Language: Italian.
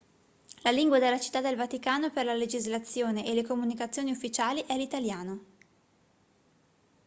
la lingua della città del vaticano per la legislazione e le comunicazioni ufficiali è l'italiano